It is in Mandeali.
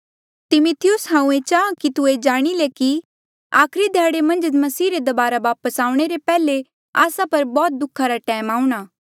तिमिथियुस हांऊँ चाहां कि तू ये जाणी ले कि आखरी ध्याड़े मन्झ मसीह रे दबारा वापस आऊणें ले पैहले आस्सा पर बौह्त दुःखा रा टैम आऊंणा